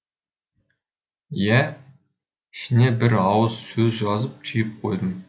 иә ішіне бір ауыз сөз жазып түйіп қойдым